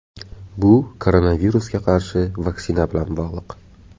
Bu koronavirusga qarshi vaksina bilan bog‘liq.